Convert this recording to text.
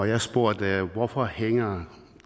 jeg spurgte hvorfor hænger